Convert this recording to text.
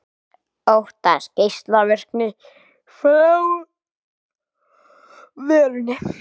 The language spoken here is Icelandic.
Óttast geislavirkni frá verinu